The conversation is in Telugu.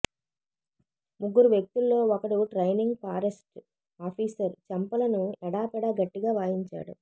ముగ్గురు వ్యక్తుల్లో ఒకడు ట్రైనింగ్ ఫారెస్ట్ ఆఫీసర్ చెంపలను ఎడాపెడా గట్టిగా వాయించాడు